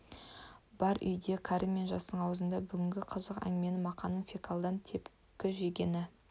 бар үйде кәрі мен жастың аузында бүгінгі қызық әңгіме мақаның фекладан тепкі жегені